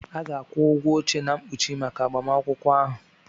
A ga-akwụ ụgwọ oche na mkpuchi maka agbamakwụkwọ ahụ.